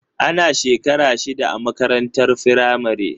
Ana shekara shida a makarantar firamare.